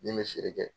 Ni n bɛ feere kɛ